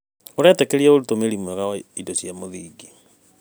ũretĩkĩria ũtũmĩri mwega wa indo cia mũthingi.